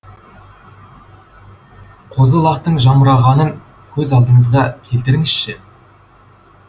қозы лақтың жамырағанын көз алдыңызға келтіріңізші